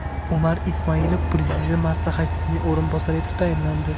Umar Ismailov Prezident maslahatchisining o‘rinbosari etib tayinlandi.